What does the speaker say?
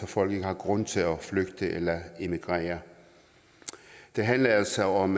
folk ikke har grund til at flygte eller emigrere det handler altså om